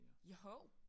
Joho